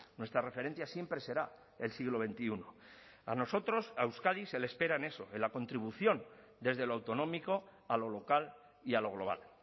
nuestra referencia siempre será el siglo veintiuno a nosotros a euskadi se le espera en eso en la contribución desde lo autonómico a lo local y a lo global